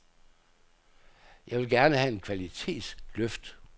Jeg vil gerne have et kvalitetsløft.